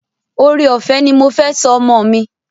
Ore-ọfẹ ní mọ fè sọ ọmọ mí.